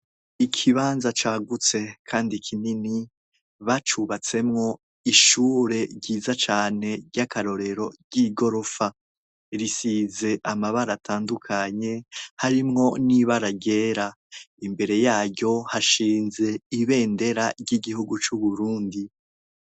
Ikibanza cagutse kandi kinini bacubatsemwo ishure ryiza cane ry'akarorero ry'igorofa. Risize ama baratandukanye harimwo n'ibaragera imbere yayo hashinze ibendera ry'igihugu cu Burundi.